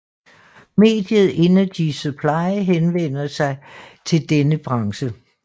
Mediet Energy Supply henvender sig til denne branche